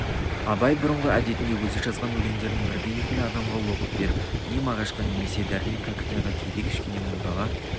абай бұрынғы әдетінде өзі жазған өлеңдерін бірді-екілі адамға оқып беріп не мағашқа немесе дәрмен кәкітайға кейде кішкене молдаға